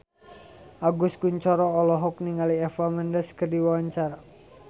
Agus Kuncoro olohok ningali Eva Mendes keur diwawancara